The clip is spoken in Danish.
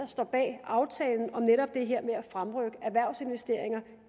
står bag aftalen om netop det her med at fremrykke erhvervsinvesteringer